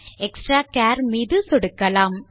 extractor மீது சொடுக்கலாம்